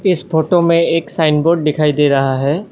इस फोटो में एक साइन बोर्ड दिखाई दे रहा है।